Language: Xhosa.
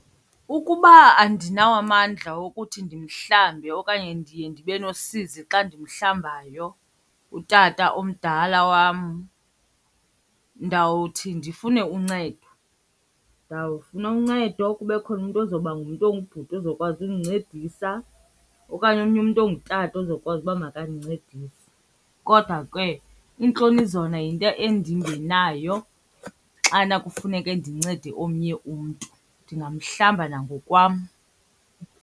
Ukuba andinawo amandla wokuthi ndimhlambe okanye ndiye ndibe nosizi xa ndimhlambayo utata omdala wam ndawuthi ndifune uncedo. Ndawufuna uncedo, kube khona umntu ozoba ngumntu ongubhuti ozokwazi undincedisa okanye omnye umntu ongutata ozokwazi uba makandincedise. Kodwa ke iintloni zona yinto endingenayo xana kufuneke ndincede omnye umntu. Ndingamhlamba nangokwam.